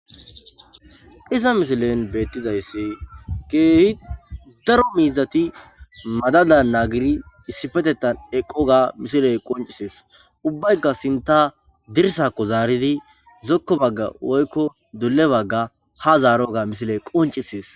Ha missileza bolla bettizayiss Cora borat madadan eqidi dizayissa qoncisses ubayikka sinththa dirssa bagga zaroganne ducca ha baga zaroga qoncisses